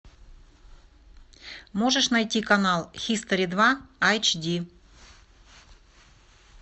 можешь найти канал хистори два айч ди